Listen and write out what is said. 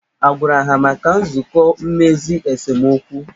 A gwara ha maka nzụkọ mmezi esemokwu?